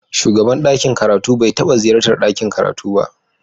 Shugaban ɗakin karatu bai taɓa ziyartar ɗakin karatu ba.